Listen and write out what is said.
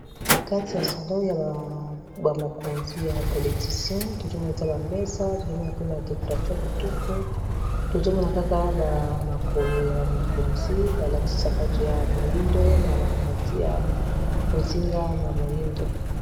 kati ya salo ya bamokonzi ya bapolyticien tozomonakka bamesa tozomona pe ba dekoration ya kitoko tozomona kaka bamakolo ya bamokonzi balatisa pato ya moindo na bambati ya bozinga na moindo